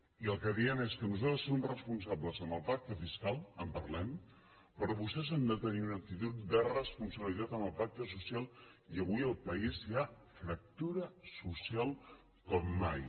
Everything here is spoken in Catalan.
i el que diem és que nosaltres som responsables amb el pacte fiscal en parlem però vostès han de tenir una actitud de responsabilitat amb el pacte social i avui al país hi ha fractura social com mai